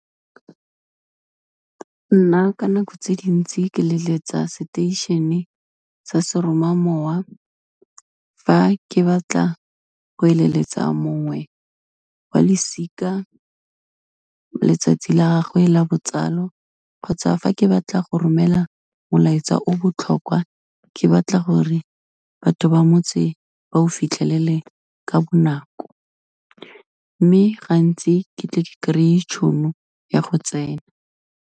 Nna ka nako tse dintsi ke leletsa seteishene sa seromamowa, fa ke batla go eleletsa mongwe wa losika letsatsi la gagwe la botsalo, kgotsa fa ke batla go romela molaetsa o botlhokwa ke batla gore batho ba motse ba o fitlhelele ka bonako, mme gantsi ke tle ke kry-e tšhono ya go tsena.